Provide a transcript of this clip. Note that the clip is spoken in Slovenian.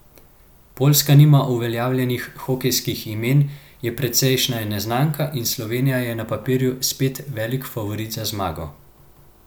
Poljska nima uveljavljenih hokejskih imen, je precejšnja neznanka in Slovenija je na papirju spet velik favorit za zmago.